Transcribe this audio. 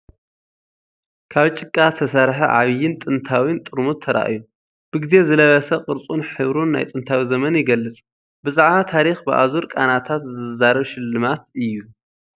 ካብ ጭቃ ዝተሰርሐ ዓቢን ጥንታዊን ጥርሙዝ ተራእዩ። ብግዜ ዝለበሰ ቅርጹን ሕብሩን፡ ናይ ጥንታዊ ዘመን ይገልጽ፤ ብዛዕባ ታሪኽ ብኣዙር ቃናታት ዝዛረብ ሽልማት እዩ።